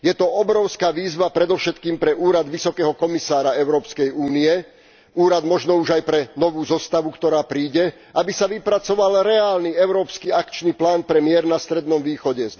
Je to obrovská výzva predovšetkým pre úrad vysokého komisára Európskej únie, úrad možno už aj pre novú zostavu, ktorá príde, aby sa vypracoval reálny európsky akčný plán pre mier na Strednom východe.